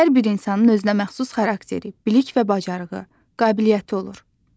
Hər bir insanın özünə məxsus xarakteri, bilik və bacarığı, qabiliyyəti olur.